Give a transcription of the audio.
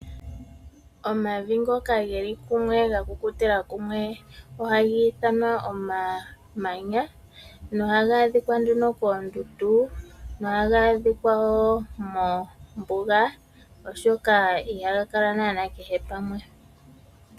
Omavi ngoka geli kumwe ga kukutila kumwe ohagi ithanwa omamanya, noha ga adhinga nduno keendundu, nohaga adhika wo mombuga oshoka ihaga kala naanaa kehe pamwe.